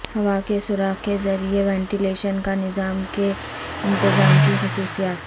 ہوا کے سوراخ کے ذریعے وینٹیلیشن کا نظام کے انتظام کی خصوصیات